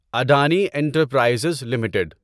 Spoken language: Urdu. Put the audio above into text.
Adani enterprises limited